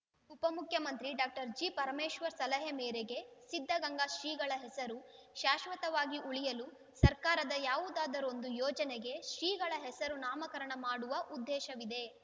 ಉಪ ಮುಖ್ಯಮಂತ್ರಿ ಡಾಕ್ಟರ್ ಜಿಪರಮೇಶ್ವರ್‌ ಸಲಹೆ ಮೇರೆಗೆ ಸಿದ್ಧಗಂಗಾ ಶ್ರೀಗಳ ಹೆಸರು ಶಾಶ್ವತವಾಗಿ ಉಳಿಯಲು ಸರ್ಕಾರದ ಯಾವುದಾದರೊಂದು ಯೋಜನೆಗೆ ಶ್ರೀಗಳನ್ನು ಹೆಸರು ನಾಮಕರಣ ಮಾಡುವ ಉದ್ದೇಶವಿದೆ